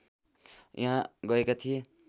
यहाँ गएका थिए